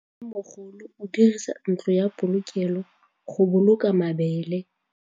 Mmêmogolô o dirisa ntlo ya polokêlô, go boloka mabele.